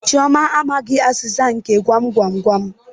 Chioma amaghi azịza nke gwam gwam gwam.